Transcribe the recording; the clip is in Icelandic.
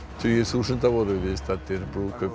tugir þúsunda voru viðstaddir brúðkaup